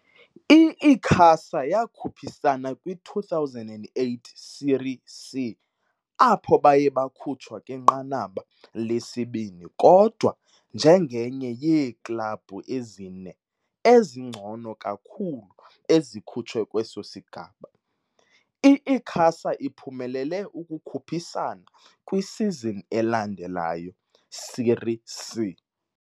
I-Icasa yakhuphisana kwi-2008 Série C, apho baye bakhutshwa kwinqanaba lesibini kodwa njengenye yeeklabhu ezine ezingcono kakhulu ezikhutshwe kweso sigaba, i-Icasa iphumelele ukukhuphisana kwisizini elandelayo's Série C.